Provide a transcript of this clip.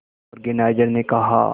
organiser ने कहा